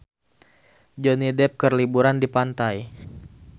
Johnny Depp keur liburan di pantai